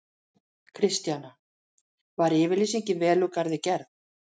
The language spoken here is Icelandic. Kristjana: Var yfirlýsingin vel úr garði gerð?